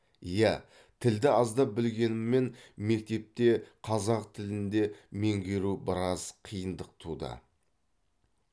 иә тілді аздап білгеніммен мектепте қазақ тілінде меңгеру біраз қиындық туды